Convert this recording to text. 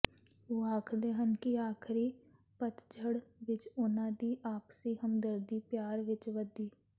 ਉਹ ਆਖਦੇ ਹਨ ਕਿ ਆਖਰੀ ਪਤਝੜ ਵਿਚ ਉਨ੍ਹਾਂ ਦੀ ਆਪਸੀ ਹਮਦਰਦੀ ਪਿਆਰ ਵਿਚ ਵਧੀ